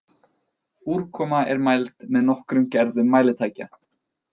Úrkoma er mæld með nokkrum gerðum mælitækja.